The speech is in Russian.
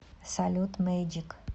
салют мэйджик